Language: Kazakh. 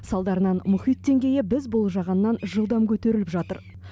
салдарынан мұхит деңгейі біз болжағаннан жылдам көтеріліп жатыр